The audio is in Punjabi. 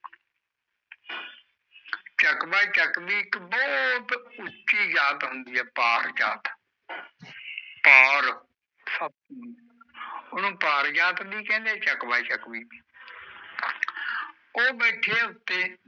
ਚਾਕ ਬਾਏ ਚੱਕ ਬੋਹ ਉੱਚੀ ਜਾਤ ਹੁੰਦੀ ਆ ਪਾਕ ਜਾਤ ਉਣੋ ਪਾਰ ਜਾਤ ਬੀ ਕੈਂਦੇ ਬੀ ਕੈਂਦੇ ਚੱਕ ਬਾਏ ਚੱਕ ਹੀ